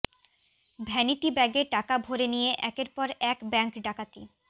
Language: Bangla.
ভ্যানিটি ব্যাগে টাকা ভরে নিয়ে একের পর এক ব্যাংক ডাকাতি